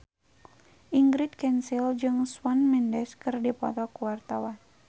Ingrid Kansil jeung Shawn Mendes keur dipoto ku wartawan